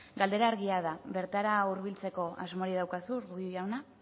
galdera argia da bertara hurbiltzeko asmorik daukazu urkullu jauna